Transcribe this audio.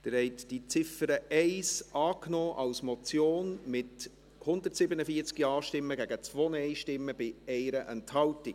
Sie haben die Ziffer 1 als Motion angenommen, mit 147 Ja- gegen 2 Nein-Stimmen bei 1 Enthaltung.